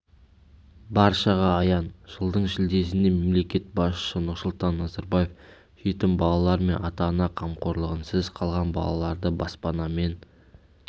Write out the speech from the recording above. баршаға аян жылдың шілдесінде мемлекет басшысы нұрсұлтан назарбаев жетім балалар мен ата-ана қамқорлығынсыз қалған балаларды баспанамен